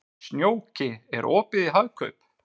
Snjóki, er opið í Hagkaup?